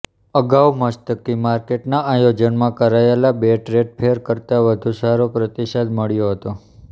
અગાઉ મસ્કતી માર્કેટના આયોજનમાં કરાયેલા બે ટ્રેડ ફેર કરતાં વધુ સારો પ્રતિસાદ મળ્યો હતો